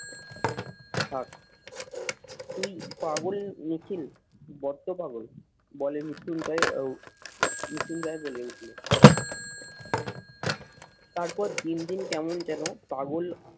থাক। দুই পাগল মিছিল, বড্ড পাগল বলে মৃত্যুঞ্জয় ও মৃত্যুঞ্জয় বলে উঠলো তারপর দিন দিন কেমন যেন পাগল